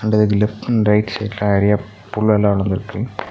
And அதுக்கு left and right சைட்ல நெறையா புல்லெல்லா வளந்துருக்கு.